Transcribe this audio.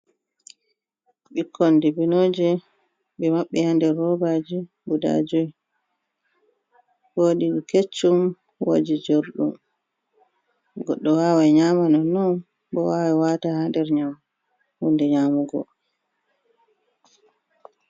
Ɓikkon di binoje ɓe maɓɓi ha nder robaji guda joi, wodi keccum, woɗi jorɗum, goɗɗo wawai nyamanonnon bo wawan wata ha nder hunde nyamugo.